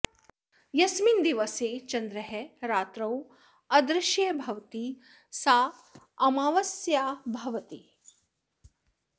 यस्मिन् दिवसे चन्द्रः रात्रौ अदृश्यः भवति सा आमावास्या भवति